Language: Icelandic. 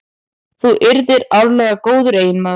Þú yrðir áreiðanlega góður eiginmaður.